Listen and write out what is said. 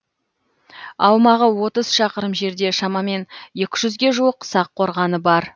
аумағы отыз шақырым жерде шамамен екі жүзге жуық сақ қорғаны бар